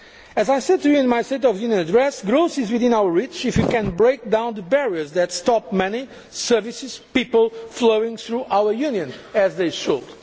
growth. As I said to you in my State of the Union address, growth is within our reach if we can break down the barriers that stop money, services and people from flowing through our Union as they